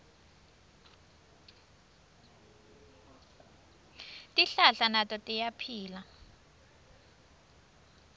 tihlahla nato tiyaphila